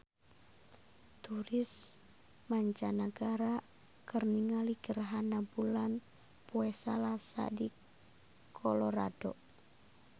Turis mancanagara keur ningali gerhana bulan poe Salasa di Colorado